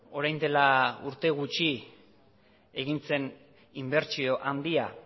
orain dela urte gutxi egin zen inbertsio handia